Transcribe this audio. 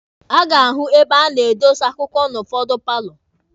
A ga-ahụ ebe a na-adọsa akwụkwọ n'ụfọdụ paalọ